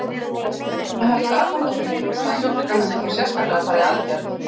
Helga Arnardóttir: Hvaða sjúklingar myndu þá sérstaklega fara í aðgerð?